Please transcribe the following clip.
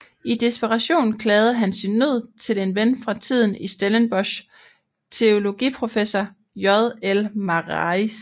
I desperation klagede han sin nød til en ven fra tiden i Stellenbosch teologiprofessor J I Marais